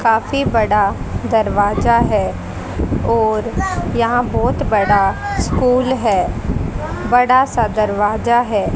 काफी बड़ा दरवाजा है और यहां बहोत बड़ा स्कूल है बड़ा सा दरवाजा है।